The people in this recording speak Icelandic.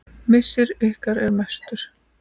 Missir ykkar er mestur.